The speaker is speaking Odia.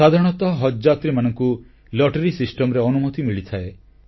ସାଧାରଣତଃ ହଜଯାତ୍ରୀମାନଙ୍କୁ ଲଟେରି ବ୍ୟବସ୍ଥାରେ ଅନୁମତି ମିଳିଥାଏ